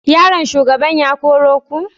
Yaron shugaban ya koro ku?